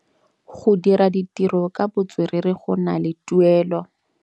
Go dira ditirô ka botswerere go na le tuelô.